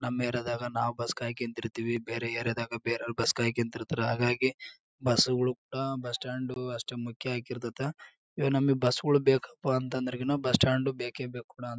ನಮ್ ಏರಿಯಾ ದಾಗ ನಾವ್ ಬಸ್ ಕಾಯ್ಕಂಡಿರ್ತೀವಿ ಬೇರೆ ಏರಿಯಾ ದಾಗ ಬೆರೆವರು ಬಸ್ ಕಾಯ್ಕದ್ದಿರ್ತಾರ ಹಾಗಾಗಿ ಬಸ್ಸು ಹುಡುಕ್ತಾ ಬಸ್ ಸ್ಟಾಂಡ್ ಅಷ್ಟ್ ಮುಖ್ಯ ಆಗಿರ್ತಾದ ಇವಾಗ್ ನಮ್ಗ್ ಬಸ್ಸು ಗಳ್ ಬೇಕಪ್ಪ ಅಂತ ಅಂದ್ರೆ ಈಗ ನಾವ್ ಬಸ್ ಸ್ಟಾಂಡ್ ಬೇಕೇ ಬೇಕ್ ಕೂಡ ಅಂತೀವಿ ನಾವ್--